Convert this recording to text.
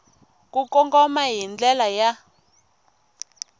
ku kongoma hi ndlela ya